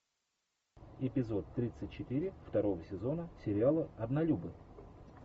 эпизод тридцать четыре второго сезона сериала однолюбы